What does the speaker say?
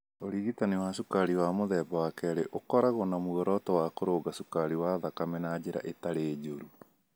Ũrigitani wa cukari wa mũthemba wa kerĩ ũkoragwo na muoroto wa kũrũnga cukari wa thakame na njĩra ĩtarĩ njũru.